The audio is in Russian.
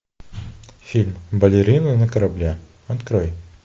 фильм балерина на корабле открой